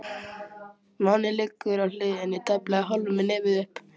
Máninn liggur á hliðinni, tæplega hálfur með nefið upp.